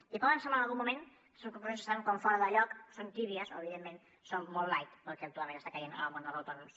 i poden semblar en algun moment aquestes conclusions que estan fora de lloc són tèbies o evidentment són molt light pel que actualment està caient en el món dels autònoms